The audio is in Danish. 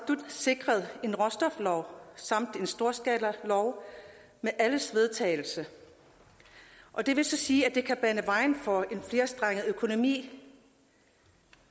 sikret en råstoflov samt en storskalalov med alles vedtagelse og det vil så sige at det kan bane vejen for en flerstrenget økonomi